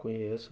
Conheço.